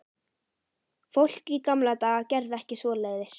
Fólk í gamla daga gerði ekki svoleiðis.